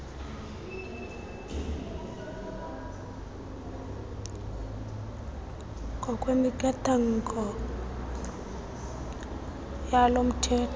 ngokwemiqathango yalo mthetho